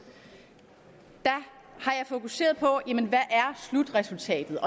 har jeg fokuseret på hvad slutresultatet